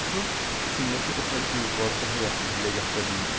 Doğrusu, içimdəki ötəri duyğuları daha yaxşı dilə gətirə bilmirəm.